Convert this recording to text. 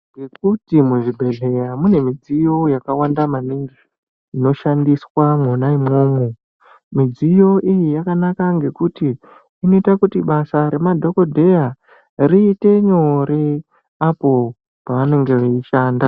Ngekuti muzvibhedhleya mune midziyo yakawanda maningi inoshandiswa mwona imwomwo. Midziyo iyi yakanaka ngekuti inoita kuti basa remadhogodheya riite nyore apo pavanenge veishanda.